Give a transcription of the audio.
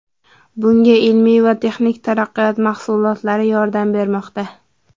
Bunga ilmiy va texnik taraqqiyot mahsulotlari yordam bermoqda.